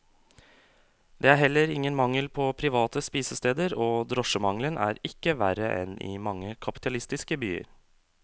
Det er heller ingen mangel på private spisesteder, og drosjemangelen er ikke verre enn i mange kapitalistiske byer.